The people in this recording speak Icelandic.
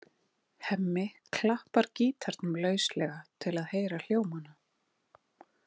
Hemmi klappar gítarnum lauslega til að heyra hljómana.